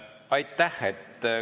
Aitäh!